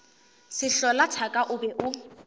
sehlola thaka o be o